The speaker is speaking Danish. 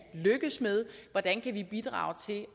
lykkes med hvordan kan vi bidrage til